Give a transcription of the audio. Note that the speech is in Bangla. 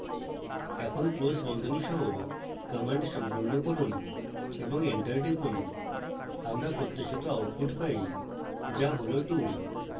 এখন close বন্ধনী সহ command সম্পূর্ণ করুন এবং enter টিপুন